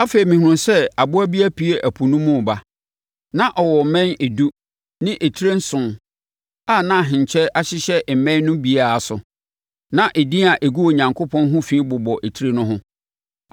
Afei, mehunuu sɛ aboa bi apue ɛpo no mu reba. Na ɔwɔ mmɛn edu ne tire nson a na ahenkyɛ hyehyɛ mmɛn no biara so na edin a ɛgu Onyankopɔn ho fi bobɔ etire no ho.